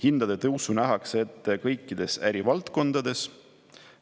Hindade tõusu nähakse ette kõikides ärivaldkondades.